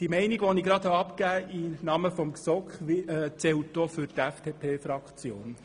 Diese Meinung gilt auch für die FDP-Fraktion.